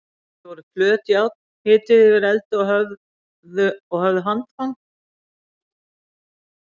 Þetta voru flöt járn, hituð yfir eldi og höfðu handfang.